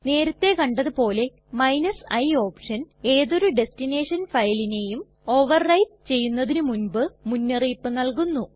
നേരത്തെ കണ്ടത് പോലെ i ഓപ്ഷൻ ഏതൊരു ടെസ്ടിനെഷൻ ഫയലിനെയും ഓവർ റൈറ്റ് ചെയ്യുന്നതിന് മുൻപ് മുന്നറിയിപ്പ് നല്കുന്നു